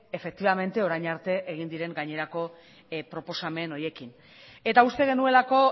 orain arte egin diren proposamen horiekin eta uste genuelako